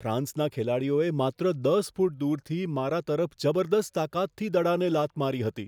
ફ્રાન્સના ખેલાડીઓએ માત્ર 10 ફૂટ દૂરથી મારા તરફ જબરદસ્ત તાકાતથી દડાને લાત મારી હતી.